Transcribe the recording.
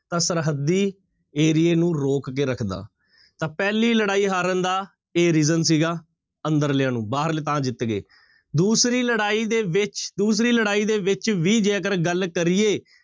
ਤਾਂ ਸਰਹੱਦੀ ਏਰੀਏ ਨੂੰ ਰੋਕ ਕੇ ਰੱਖਦਾ, ਤਾਂ ਪਹਿਲੀ ਲੜਾਈ ਹਾਰਨ ਦਾ ਇਹ reason ਸੀਗਾ ਅੰਦਰਲਿਆਂ ਨੂੰ, ਬਾਹਰਲੇ ਤਾਂ ਜਿੱਤ ਗਏ, ਦੂਸਰੀ ਲੜਾਈ ਦੇ ਵਿੱਚ, ਦੂਸਰੀ ਲੜਾਈ ਦੇ ਵਿੱਚ ਵੀ ਜੇਕਰ ਗੱਲ ਕਰੀਏ